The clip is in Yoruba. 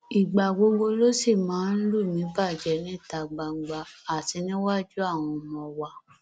ìgbà gbogbo ló sì máa ń lù mí bàjẹ níta gbangba àti níwájú àwọn ọmọ wa